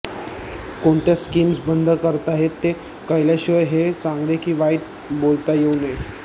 कोणत्या स्कीम्स बंद करताहेत ते कळल्याशिवाय हे चांगले की वाईट बोलता येऊ नये